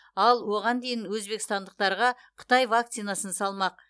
ал оған дейін өзбекстандықтарға қытай вакцинасын салмақ